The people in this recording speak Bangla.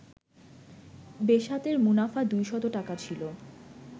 বেসাতের মুনাফা দুইশত টাকা ছিল